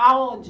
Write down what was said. Aonde?